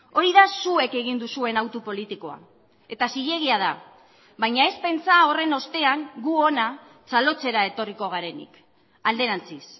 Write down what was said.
hori da zuek egin duzuen hautu politikoa eta zilegia da baina ez pentsa horren ostean gu hona txalotzera etorriko garenik alderantziz